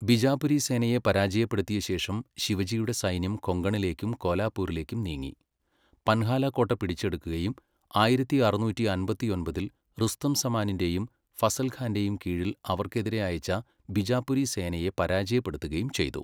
ബിജാപുരി സേനയെ പരാജയപ്പെടുത്തിയ ശേഷം ശിവജിയുടെ സൈന്യം കൊങ്കണിലേക്കും കോലാപൂരിലേക്കും നീങ്ങി, പൻഹാല കോട്ട പിടിച്ചെടുക്കുകയും ആയിരത്തി അറുന്നൂറ്റി അമ്പത്തിയൊമ്പതിൽ റുസ്തം സമാനിന്റെയും ഫസൽ ഖാന്റെയും കീഴിൽ അവർക്കെതിരെ അയച്ച ബിജാപുരി സേനയെ പരാജയപ്പെടുത്തുകയും ചെയ്തു.